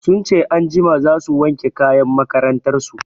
Sun ce anjima za su wanke kayan makarantar su.